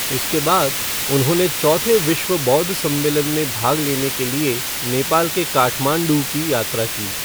इसके बाद उन्होंने चौथे विश्व बौद्ध सम्मेलन में भाग लेने के लिए नेपाल के काठमांडू की यात्रा की।